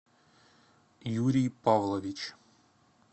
юрий павлович